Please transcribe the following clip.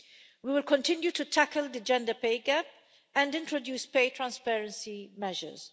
We will continue to tackle the gender pay-gap and introduce pay transparency measures.